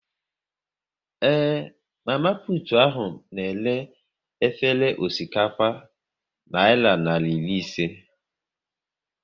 Ee, mama putu ahu na-ere efere osikapa naira narị iri ise